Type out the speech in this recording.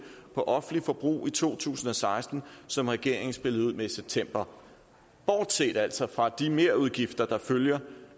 på offentligt forbrug i to tusind og seksten som regeringen spillede ud med i september bortset altså fra de merudgifter der følger